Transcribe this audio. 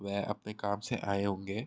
वह अपने काम से आए होंगे।